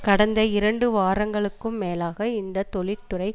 கடந்த இரண்டு வாரங்களுக்கும் மேலாக இந்த தொழிற்துறை